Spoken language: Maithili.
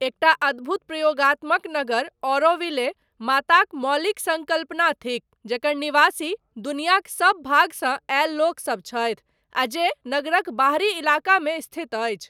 एकटा अद्भुत प्रयोगात्मक नगर, ऑरोविले, माताक मौलिक सङ्कल्पना थिक, जकर निवासी दुनियाक सभ भागसँ आयल लोक सब छथि, आ जे नगरक बाहरी इलाकामे स्थित अछि।